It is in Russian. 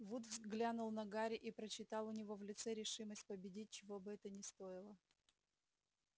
вуд взглянул на гарри и прочитал у него в лице решимость победить чего бы это ни стоило